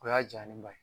O y'a jalen ba ye